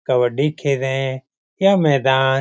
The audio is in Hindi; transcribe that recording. कवड्डी खेल रहे हैं यह मैदान --